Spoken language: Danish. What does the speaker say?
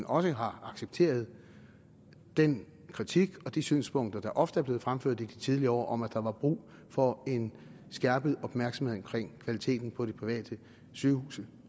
også har accepteret den kritik og de synspunkter der ofte er blevet fremført i de tidligere år om at der var brug for en skærpet opmærksomhed omkring kvaliteten på de private sygehuse